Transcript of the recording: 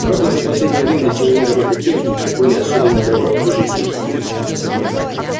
правда за последнее время достижения роботехники были особенно головокружительны